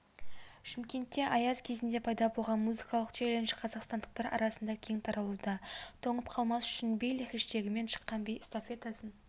шымкентте аяз кезінде пайда болған музыкалық челлендж қазақстандықтар арасына кең таралуда тоңып қалмас үшін биле хэштегімен шыққан би эстафетасын